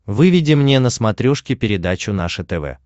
выведи мне на смотрешке передачу наше тв